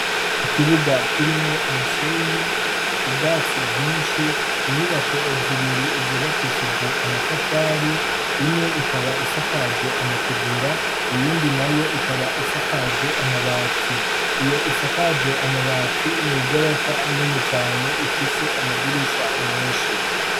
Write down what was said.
ikibuga kirimwo umusenyi ubwatsi bwinshi inyubako zibiri zubakishijwe amatafari imwe ikaba isakajwe amategura iyindi nayo ikaba isakajwe amabati iyo isakajwe amabati ni igorofa nini cane ifise amadirisha menshi